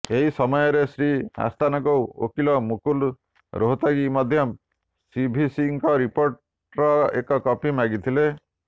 ଏହି ସମୟରେ ଶ୍ରୀ ଆସ୍ଥାନାଙ୍କ ଓକିଲ ମୁକୁଲ ରୋହତଗୀ ମଧ୍ୟ ସିଭିସିଙ୍କ ରିପୋର୍ଟର ଏକ କପି ମାଗିଥିଲେ